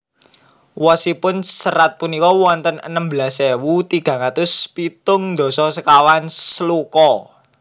Wosipun serat punika wonten enem belas ewu tigang atus pitung dasa sekawan sloka